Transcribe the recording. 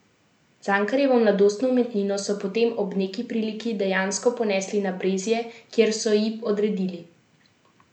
Cankarjevo mladostno umetnino so potem ob neki priliki dejansko ponesli na Brezje, kjer so ji odredili mesto v Marijini kapeli.